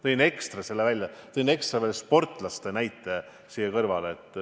Tõin ekstra veel sportlaste näite siia kõrvale.